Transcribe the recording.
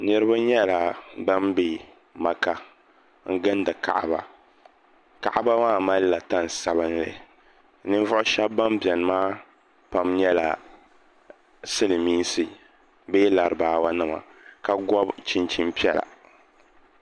Niriba nyɛla bani bɛ maka n gindi Kaaba kaaba maa mali la tani sabinli ninvuɣi ahɛba bɛni bɛni maa pam nyɛla Silimiinsi bee laribawa nima ka gɔbi chinchini piɛla.